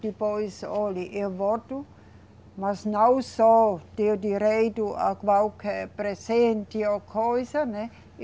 Depois, olhe, eu volto, mas não só ter direito a qualquer presente ou coisa, né?